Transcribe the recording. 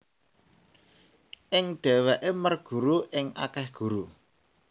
Ing dheweke merguru ing akeh guru